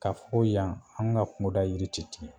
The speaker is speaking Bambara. Ka fo yan an ka kunda yiri te tigɛ